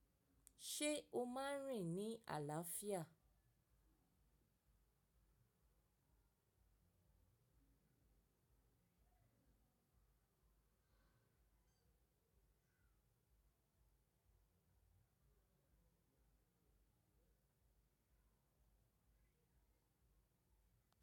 Ṣé o máa ń rìn ní àlàáfíà?